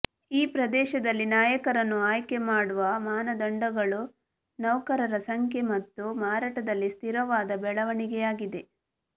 ಈ ಪ್ರದೇಶದಲ್ಲಿ ನಾಯಕರನ್ನು ಆಯ್ಕೆ ಮಾಡುವ ಮಾನದಂಡಗಳು ನೌಕರರ ಸಂಖ್ಯೆ ಮತ್ತು ಮಾರಾಟದಲ್ಲಿ ಸ್ಥಿರವಾದ ಬೆಳವಣಿಗೆಯಾಗಿದೆ